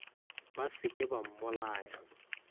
ba se ke ba mmolaya